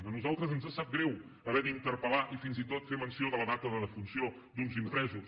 a nosaltres ens sap greu haver d’interpel·lar i fins i tot fer menció de la data de defunció d’uns impresos